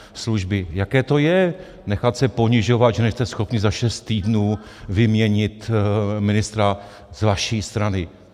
Jaké to je nechat se ponižovat, že nejste schopni za šest týdnů vyměnit ministra z vaší strany?